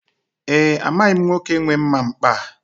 E, amaghị m nwoke nwe mma mkpa a.